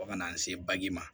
Fo ka n'an se baji ma